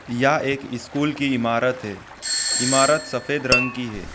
यह एक स्कूल की ईमारत है ईमारत सफेद रंग की हैं।